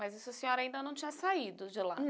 Mas a senhora ainda não tinha saído de lá.